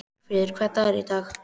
Bergfríður, hvaða dagur er í dag?